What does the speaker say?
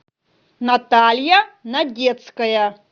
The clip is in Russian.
наталья надецкая